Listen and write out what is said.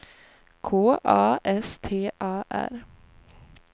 K A S T A R